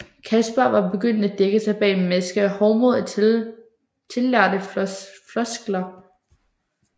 Kaspar var begyndt at dække sig bag en maske af hovmod og tillærte floskler